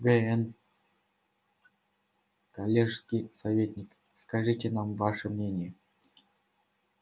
г-н коллежский советник скажите нам ваше мнение